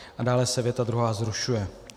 A dále se věta druhá zrušuje."